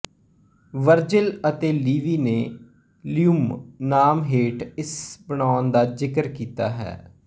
Virgil ਅਤੇ Livy ਨੇ libum ਨਾਮ ਹੇਠ ਇਸ ਬਣਾਉਣ ਦਾ ਜ਼ਿਕਰ ਕੀਤਾ ਹੈ